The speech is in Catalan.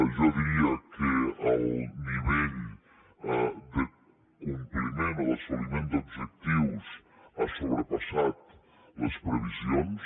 jo diria que el nivell de compliment o d’assoliment d’objectius ha sobrepassat les previsions